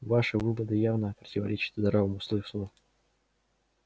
ваши выводы явно противоречат здравому смыслу